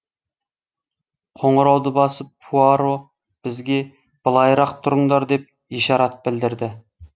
қоңырауды басып пуаро бізге былайырақ тұрыңдар деп ишарат білдірді